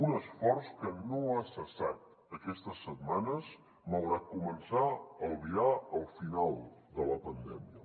un esforç que no ha cessat aquestes setmanes malgrat començar a albirar el final de la pandèmia